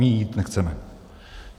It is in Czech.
My jí jít nechceme.